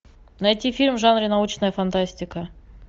найти фильм в жанре научная фантастика